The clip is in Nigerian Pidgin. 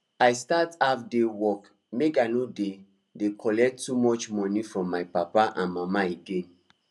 i start half day work make i no dey dey collect too much money from my papa and mama again